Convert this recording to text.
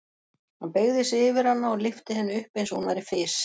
Hann beygði sig yfir hana og lyfti henni upp eins og hún væri fis.